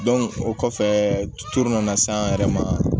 o kɔfɛ tutu nana s'an yɛrɛ ma